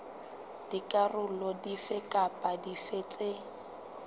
dikarolo dife kapa dife tse